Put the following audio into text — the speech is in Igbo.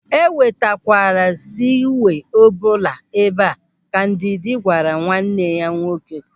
"E wetakwala segwee ọbụla ebe a", Ka Ndidi gwara nwanne ya nwoke.